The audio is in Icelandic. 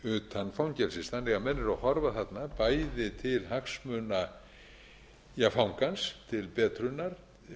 utan fangelsis þannig að menn eru að horfa þarna bæði til hagsmuna fangans til betrunar